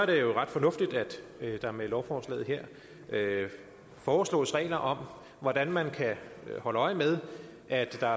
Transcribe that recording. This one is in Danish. det ret fornuftigt at der med lovforslaget her foreslås regler om hvordan man kan holde øje med at der